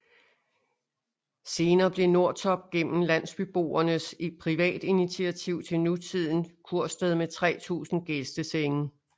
Senere blev Nordtorp gennem landsbyboernes privatinitiativ til nutidend kursted med 3000 gæstesennge